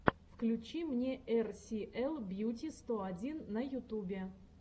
включи мне эр си эл бьюти сто один на ютубе